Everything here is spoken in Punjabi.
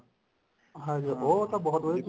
ਹਾਂਜੀ ਹਾਂ ਉਹ ਤਾਂ ਬਹੁਤ ਵਧੀਆ